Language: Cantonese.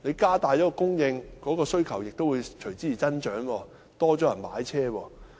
加大供應，但需求亦會隨之而增加，會有更多人買車。